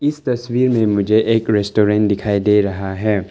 इस तस्वीर में मुझे एक रेस्टोरेंट दिखाई दे रहा है।